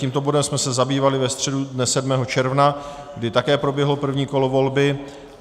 Tímto bodem jsme se zabývali ve středu dne 7. června, kdy také proběhlo první kolo volby.